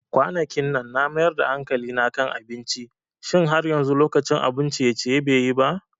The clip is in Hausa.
Kwanakinnan na mayar da hankali kan abinci, Shin har yanzu lokacin abun ciye-ciye be yi ba?